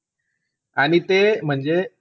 आणि ते म्हणजे,